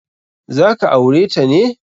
Za ka aure ta ne?